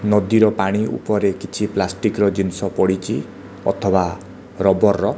ନଦୀର ପାଣି ଉପରେ କିଛି ପ୍ଲାଷ୍ଟିକ୍ ର କିଛି ଜିନିଷ ପଡ଼ିଛି ଅଥବା ରବର ର।